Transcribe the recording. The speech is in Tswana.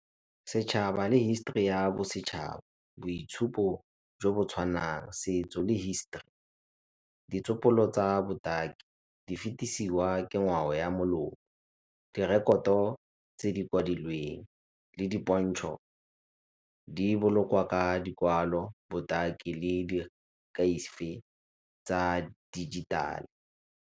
Setšhaba le history ya bosetšhaba, boitshupo jo bo tshwanang, setso le hisetori, ditsopolo tsa botaki, di fetesiwa ke ngwao ya , direkoto tse di kwadilweng, le dipontšho di bolokwa ka dikwalo, botaki le tsa dijithale.